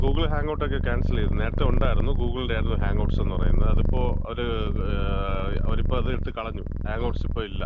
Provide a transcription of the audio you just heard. ആ, ഗൂഗിൾ ഹാങ് ഔട്ടൊക്കെ ക്യാൻസല് ചെയ്തു. നേരത്തെ ഉണ്ടായിരുന്നു. ഗൂഗിളിന്‍റെ ആയിരുന്നു ഹാങ് ഔട്ട്സ് എന്ന് പറയുന്നത്. അവരിപ്പോ ഒരു ഇത് ഒരു അവരത് എടുത്ത് കളഞ്ഞു. ഹാങ് ഔട്ട്സ് ഇപ്പം ഇല്ല.